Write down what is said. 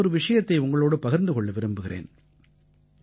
நான் ஒரு விஷயத்தை உங்களோடு பகிர்ந்து கொள்ள விரும்புகிறேன்